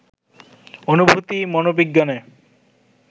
অনুভূতি, মনোবিজ্ঞানে